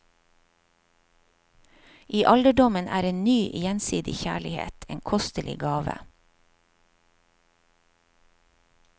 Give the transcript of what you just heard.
I alderdommen er en ny gjensidig kjærlighet en kostelig gave.